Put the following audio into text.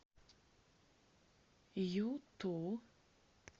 юту